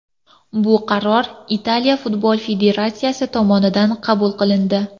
Bu qaror Italiya futbol federatsiyasi tomonidan qabul qilindi.